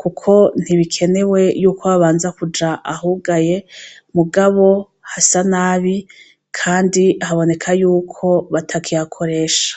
kuko ntibikenewe y'uko babanza kuja ahugaye mugabo hasa nabi kandi haboneka yuko batakihakoresha.